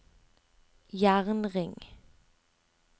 jernring